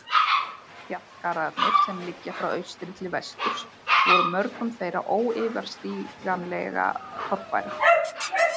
Fjallgarðarnir, sem liggja frá austri til vesturs, voru mörgum þeirra óyfirstíganleg torfæra.